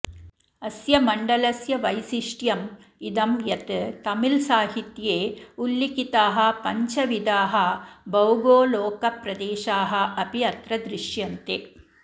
अस्य मण्डलस्य वैशिष्ट्यम् इदं यत् तमिऴसाहित्ये उल्लिखिताः पञ्चविधाः भौगोलोकप्रदेशाः अपि अत्र दृश्यन्ते